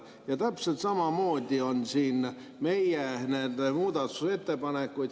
Ja täpselt samamoodi on siin meie niisuguseid muudatusettepanekuid.